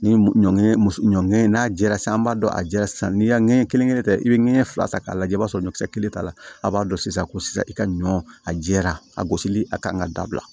Ni ɲɔ ɲɔ ŋɛɲɛ n'a jɛra sisan an b'a dɔn a jɛra sisan n'i y'a ŋɛɲɛ kelen ta i be ŋɛɲɛ fila ta k'a lajɛ i b'a sɔrɔ ɲɔkisɛ kelen t'a la a b'a dɔn sisan ko sisan i ka ɲɔ a jɛra a gosili a kan ka dabila